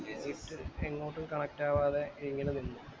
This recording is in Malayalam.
എന്നിട്ട് ഇങ്ങോട്ടും connect ആവാതെ ഇങ്ങനെ നിന്നു